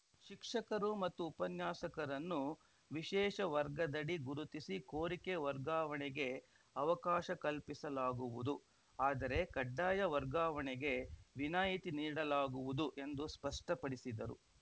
ಶಿಕ್ಷಕರು ಮತ್ತು ಉಪನ್ಯಾಸಕರನ್ನು ವಿಶೇಷ ವರ್ಗದಡಿ ಗುರುತಿಸಿ ಕೋರಿಕೆ ವರ್ಗಾವಣೆಗೆ ಅವಕಾಶ ಕಲ್ಪಿಸಲಾಗುವುದು ಆದರೆ ಕಡ್ಡಾಯ ವರ್ಗಾವಣೆಗೆ ವಿನಾಯಿತಿ ನೀಡಲಾಗುವುದು ಎಂದು ಸ್ಪಷ್ಟಪಡಿಸಿದರು